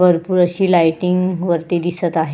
भरपुर अशी लायटिंग वरती दिसत आहे.